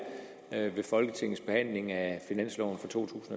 ved folketingets behandling af finansloven for to